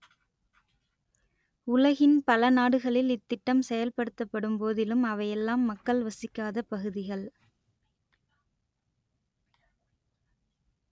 உலகின் பல நாடுகளில் இத்திட்டம் செயல்படுத்தப்படும் போதிலும் அவையெல்லாம் மக்கள் வசிக்காத பகுதிகள்